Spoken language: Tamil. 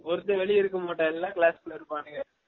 ஒருத்தன் வெலிய இருக்க மாட்டான் எல்லாம் class கூல்ல இருப்பான்க